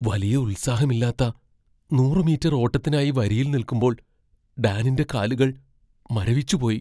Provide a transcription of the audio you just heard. വലിയ ഉത്സാഹമില്ലാത്ത നൂറ് മീറ്റർ ഓട്ടത്തിനായി വരിയിൽ നിൽക്കുമ്പോൾ ഡാനിന്റെ കാലുകൾ മരവിച്ചുപോയി.